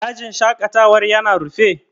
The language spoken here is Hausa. Dajin shaƙatawan ya na rufe?